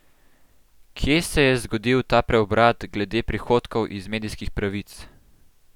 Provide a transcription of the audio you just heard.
Kje se je zgodil ta preobrat glede prihodkov iz medijskih pravic?